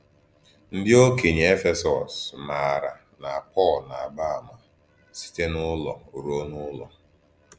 Ndí Òkènye Éfèsọ́s mààrà na Pọ́l na-àgbà àmà site n’ùlò rùo n’ùlò.